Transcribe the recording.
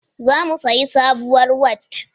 Za mu siyi sabuwar Wat